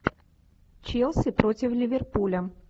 челси против ливерпуля